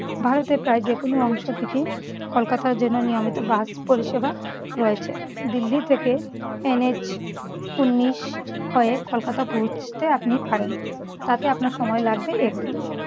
ভারতের প্রায় যেকোনো অংশ থেকে কলকাতার জন্য় নিয়মিত বাস পরিষেবা রয়েছে। দিল্লি থেকে এনএইচ উনিশ খ এ কলকাতা পৌঁছতে আপনি পারেন। তাতে আপনার সময় লাগবে একদিন।